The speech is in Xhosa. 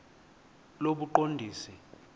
lobuqondisi